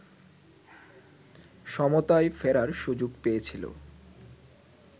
সমতায় ফেরার সুযোগ পেয়েছিল